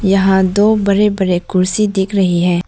यहां दो बड़े बड़े कुर्सी दिख रहे हैं।